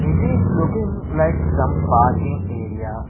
it is looking like some parking area.